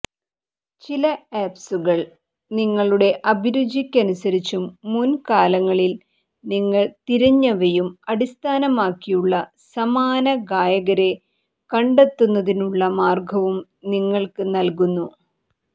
ചില ആപ്സുകൾ നിങ്ങളുടെ അഭിരുചിക്കനുസരിച്ചും മുൻകാലങ്ങളിൽ നിങ്ങൾ തിരഞ്ഞവയും അടിസ്ഥാനമാക്കിയുള്ള സമാന ഗായകരെ കണ്ടെത്തുന്നതിനുള്ള മാർഗവും നിങ്ങൾക്ക് നൽകുന്നു